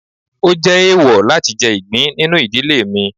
o jé eèwò latí jẹ igbín ninú ìdílé mí.